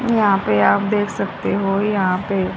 और यहां पे आप देख सकते हो यहां पे--